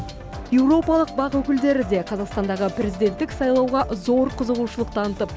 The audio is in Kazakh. еуропалық бақ өкілдері де қазақстандағы президенттік сайлауға зор қызығушылық танытып